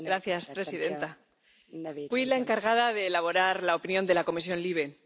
Señora presidenta, fui la encargada de elaborar la opinión de la Comisión LIBE.